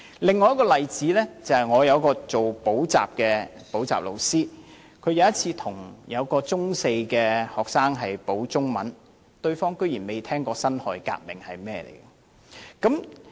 另一個例子是，我有朋友是補習老師，他有一次為一名中四學生補習中文，對方居然未聽過辛亥革命。